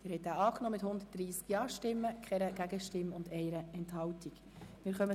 Sie haben den Verpflichtungskredit mit 130 Ja-, 0 Nein-Stimmen und bei 1 Enthaltung angenommen.